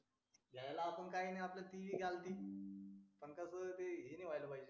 घ्यायला असं काय नाही जी पण घ्याल ती पण त्याच्यानंतर ते हे नाही व्हायला पाहिजे